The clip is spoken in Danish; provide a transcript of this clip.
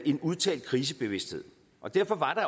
en udtalt krisebevidsthed og derfor var